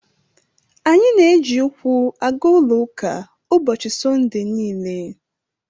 Anyị na-eji ụkwụ aga ụlọ ụka ụbọchị Sọnde niile.